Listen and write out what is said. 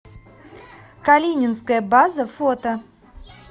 калининская база фото